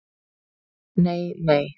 Nei nei!